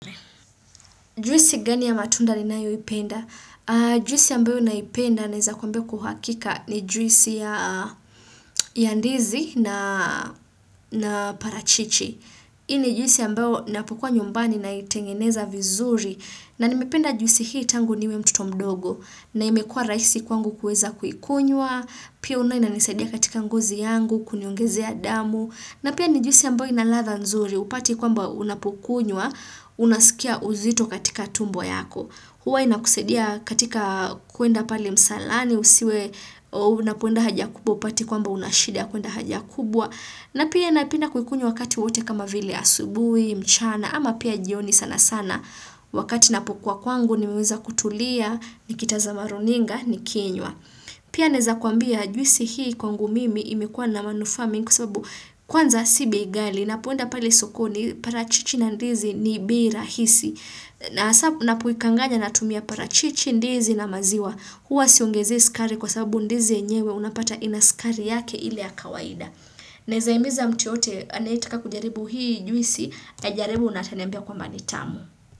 Juisi gani ya matunda ninayoipenda? Juisi ambayo naipenda naeza kwa uhakika ni juisi ya Ndizi na parachichi. Hii ni juisi ambayo ninapokua nyumbani naitengeneza vizuri na nimependa juisi hii tangu niwe mtoto mdogo na imekua rahisi kwangu kuweza kuikunywa, pia unaona inanisadia katika ngozi yangu, kuniongesea damu na pia ni juisi ambayo ina ladha nzuri, hupati kwamba unapokunywa unasikia uzito katika tumbo yako, huwa inakusaidia katika kuenda pale msalani, usiwe unapoenda haja kubwa hupati kwamba una shida ya kuenda haja kubwa, na pia napenda kuikunywa wakati wowote kama vile asubuhi, mchana, ama pia jioni sana sana wakati ninapokua kwangu, nimeweza kutulia, nikitazama runinga nikinywa. Pia naeza kuambia juisi hii kwangu mimi imekuwa na manufaa mingi kwa sababu kwanza si bei ghali. Ninapoenda pale sokoni parachichi na ndizi ni bei rahisi. Na hasa ninapoikanganya natumia parachichi ndizi na maziwa. Huwa siongezei sukari kwa sababu ndizi yenyewe unapata ina sukari yake ile ya kawaida. Naeza himiza mtu yeyote anayetaka kujaribu hii juisi ajaribu na ataniambia kwamba ni tamu.